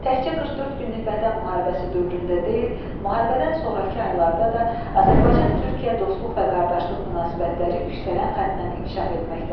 Təkcə 44 günlük Vətən müharibəsi dövründə deyil, müharibədən sonrakı illərdə də Azərbaycan-Türkiyə dostluq və qardaşlıq münasibətləri yüksələn xəttlə inkişaf etməkdədir.